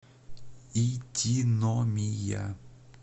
итиномия